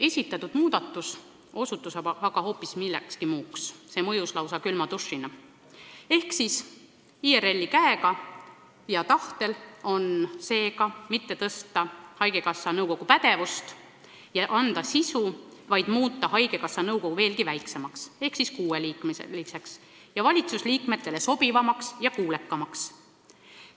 Esitatud muudatusettepanek mõjus aga lausa külma dušina: IRL ei soovi mitte suurendada haigekassa nõukogu pädevust ja toetada selle sisulist tööd, vaid muuta haigekassa nõukogu veelgi väiksemaks ehk kuueliikmeliseks, valitsusele sobivamaks ja kuulekamaks.